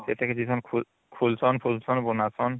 ସେଟା କି ଖୁଲଚନ ଖୁଲଚନ ବନାରଚନ